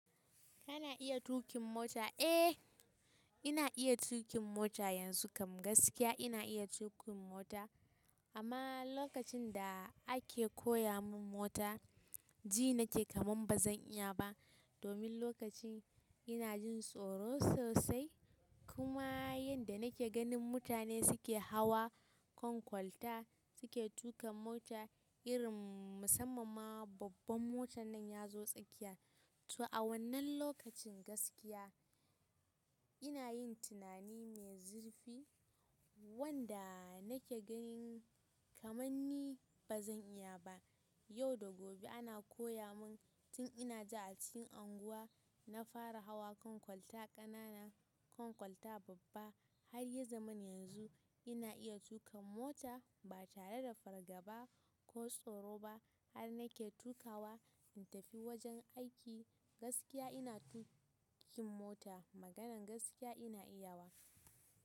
Kana iya tuƙin mota? Eh, ina iya tuƙin mota yanzu kam gaskiya ina iya tuƙin mota. Amma lokacin da ake koya mun mota, ji nake kaman bazan iya ba. Domin lokacin ina jin tsoro sosai. Kuma yanda nake ganin mutane suke hawa kan kwalta suke tuƙa mota irin musamman ma babban motan nan ya zo tsakiya. To a wannan lokacin gaskiya ina yin tunani mai zurfi wanda nake ganin kamanni bazan iya ba. Yau da gobe ana koya mun tun ina ji a cikin unguwa na fara hawa kan kwalta ƙanana, kan kwalta babba har ya zamana yanzu ina iya tuka mota ba tare da fargaba ko tsoro ba har nake tukawa in tafi wajen aiki. Gaskiya ina tuƙin mota. Maganan gaskiya ina iya wa.